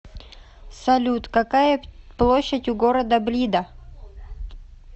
салют какая площадь у города блида